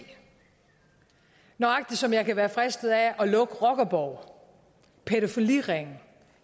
nøjagtig som jeg kan være fristet af at lukke rockerborge pædofiliringe